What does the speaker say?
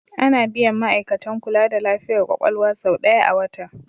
Ana biyan ma'aikatan kula da lafiyar kwakwalwa sau ɗaya a wata.